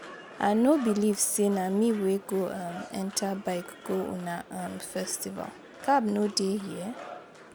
I no believe say na me wey go um enter bike go una um festival. Cab no dey here?